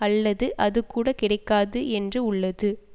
அல்லது அது கூட கிடைக்காது என்று உள்ளது